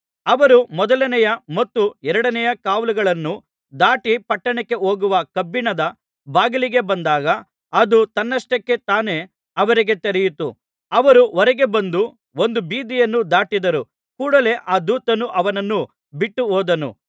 ಅವರು ಮೊದಲನೆಯ ಮತ್ತು ಎರಡನೆಯ ಕಾವಲುಗಳನ್ನು ದಾಟಿ ಪಟ್ಟಣಕ್ಕೆ ಹೋಗುವ ಕಬ್ಬಿಣದ ಬಾಗಿಲಿಗೆ ಬಂದಾಗ ಅದು ತನ್ನಷ್ಟಕ್ಕೆ ತಾನೇ ಅವರಿಗೆ ತೆರೆಯಿತು ಅವರು ಹೊರಗೆ ಬಂದು ಒಂದು ಬೀದಿಯನ್ನು ದಾಟಿದರು ಕೂಡಲೇ ಆ ದೂತನು ಅವನನ್ನು ಬಿಟ್ಟು ಹೋದನು